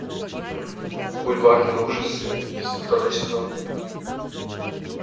бульварные ужасы второй сезон